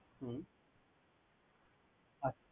হম আচ্ছা।